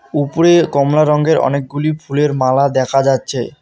উপরে কমলা রঙ্গের অনেকগুলি ফুলের মালা দেখা যাচ্ছে।